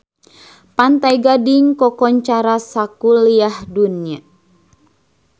Pantai Gading kakoncara sakuliah dunya